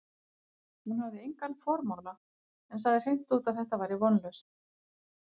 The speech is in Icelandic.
Hún hafði engan formála, en sagði hreint út, að þetta væri vonlaust.